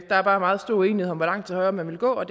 er bare meget stor uenighed om hvor langt til højre man vil gå og